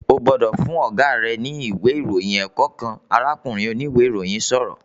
"Ó gbọ́dọ̀ fún Ọ̀gá rẹ ní ìwé ìròyìn ẹ̀kọ́ kan!", arákùnrin oníwe ìròyìn sọ̀rọ̀